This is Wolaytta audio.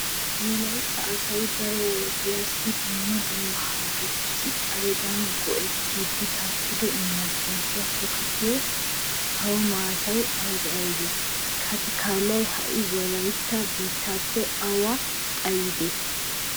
Wolaytta asay daro wodiyassi dumma dumma harggetussi xaledan go"ettiiddi takkido emergency tokettiya sawo maatati aybee aybee? Katikallay ha"i wolaytta biittaappe awa xayidee?